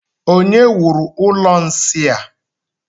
Onye wuru ụlọ nsị a?